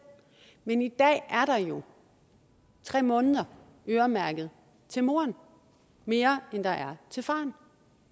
men i dag er der jo tre måneder øremærket til moren mere end der er til faren